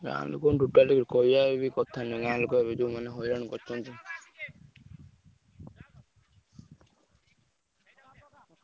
ଗାଁ ଲୋକଙ୍କୁ totally କହିଆ ହିଁ କଥା ନୁହେଁଗାଁ ଲୋକ ଏବେ ଯଉଁ ମାନେ ହଇରାଣ କରୁଛନ୍ତି।